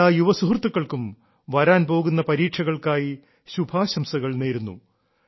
എല്ലാ യുവ സുഹൃത്തുക്കൾക്കും വരാൻ പോകുന്ന പരീക്ഷകൾക്കായി ശുഭാശംസകൾ നേരുന്നു